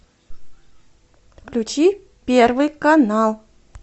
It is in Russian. включи первый канал